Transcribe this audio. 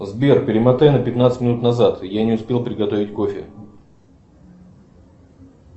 сбер перемотай на пятнадцать минут назад я не успел приготовить кофе